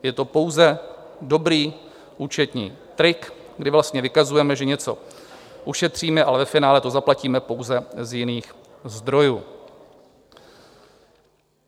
Je to pouze dobrý účetní trik, kdy vlastně vykazujeme, že něco ušetříme, ale ve finále to zaplatíme pouze z jiných zdrojů.